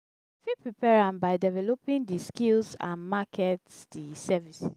i fit prepare am by developing di skills and market di services.